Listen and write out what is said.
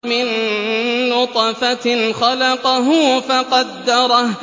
مِن نُّطْفَةٍ خَلَقَهُ فَقَدَّرَهُ